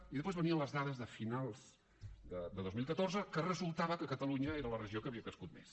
i després venien les dades de finals de dos mil catorze que resultava que catalunya era la regió que havia crescut més